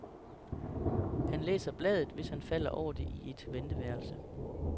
Han læser bladet, hvis han falder over det i et venteværelse.